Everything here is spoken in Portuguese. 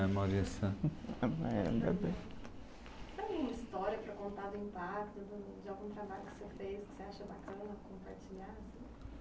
Maurícia. Tem alguma história para contar do impacto de algum trabalho que você fez, que você acha bacana compartilhar, assim?